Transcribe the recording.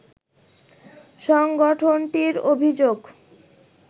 সংগঠনটির অভিযোগ